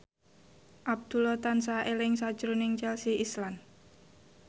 Abdullah tansah eling sakjroning Chelsea Islan